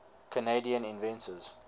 canadian inventors